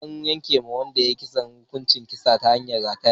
An yanke wa wanda ya yi kisan hukuncin kisa ta hanyar rataya.